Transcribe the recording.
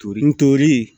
Torinin n toli